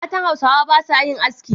Mata Hausawa ba sa yin aski.